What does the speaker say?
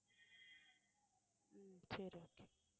உம் சரி okay